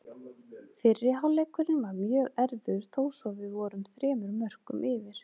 Fyrri hálfleikurinn var mjög erfiður þó svo við vorum þremur mörkum yfir.